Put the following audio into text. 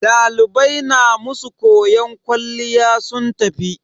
Dalibai na masu koyon kwalliya sun tafi.